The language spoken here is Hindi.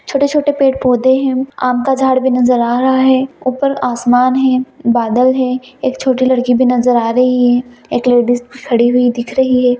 छोटे-छोटे पेड़-पौधे हैं आम का झाड़ भी नजर आ रहा है ऊपर आसमान है बदल है एक छोटी लड़की भी नजर आ रही है एक लेडिस भी खड़ी हुई दिख रही है।